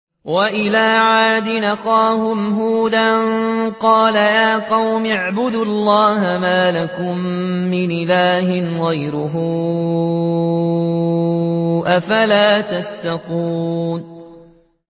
۞ وَإِلَىٰ عَادٍ أَخَاهُمْ هُودًا ۗ قَالَ يَا قَوْمِ اعْبُدُوا اللَّهَ مَا لَكُم مِّنْ إِلَٰهٍ غَيْرُهُ ۚ أَفَلَا تَتَّقُونَ